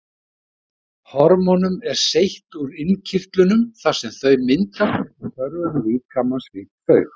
Hormónum er seytt úr innkirtlunum þar sem þau myndast eftir þörfum líkamans fyrir þau.